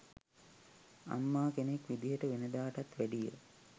අම්මා කෙනෙක් විදියට වෙනදාටත් වැඩිය